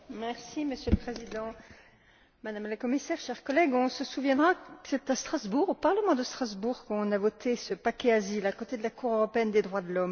Monsieur le Président, Madame la Commissaire, chers collègues, on se souviendra que c'est au Parlement de Strasbourg qu'on a voté ce paquet asile, à côté de la Cour européenne des droits de l'homme.